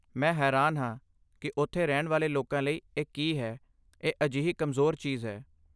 ਮੈਂ ਹੈਰਾਨ ਹਾਂ ਕਿ ਉੱਥੇ ਰਹਿਣ ਵਾਲੇ ਲੋਕਾਂ ਲਈ ਇਹ ਕੀ ਹੈ, ਇਹ ਅਜਿਹੀ ਕਮਜ਼ੋਰ ਚੀਜ਼ ਹੈ!